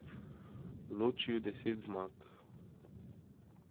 Loči ju deset zmag.